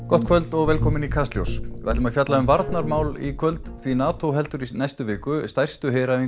gott kvöld og velkomin í Kastljós við ætlum að fjalla um varnarmál í kvöld því Nato heldur í næstu viku stærstu heræfingu